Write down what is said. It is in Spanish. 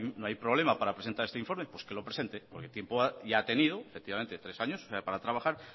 no hay problema para presentar este informe pues que lo presente porque tiempo ya ha tenido efectivamente tres años para trabajar